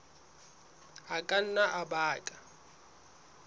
a ka nna a baka